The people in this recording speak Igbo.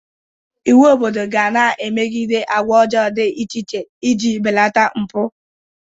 Iwu obodo ga na-emegide agwa ọjọọ dị iche iche ị ji belata mpụ.